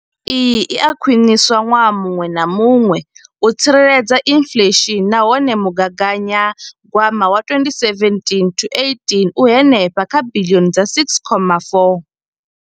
Iyi i a khwiniswa ṅwaha muṅwe na muṅwe u tsireledza inflesheni nahone mugaganyagwama wa 2017 to 18 u henefha kha biḽioni dza R6.4.